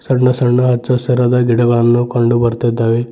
ಸಣ್ಣ ಸಣ್ಣ ಹಚ್ಚ ಹಸಿರಾದ ಗಿಡಗಳನ್ನು ಕಂಡು ಬರ್ತಿದ್ದಾವೆ.